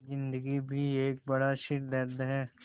ज़िन्दगी भी एक बड़ा सिरदर्द है